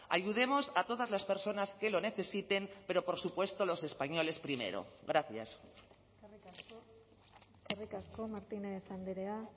ayudemos a todas las personas que lo necesiten pero por supuesto los españoles primero gracias eskerrik asko martínez andrea